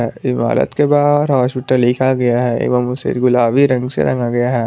इमारत के बाहर हॉस्पिटल लिखा गया है एवं उसे गुलाबी रंग से रंग रंगा गया है।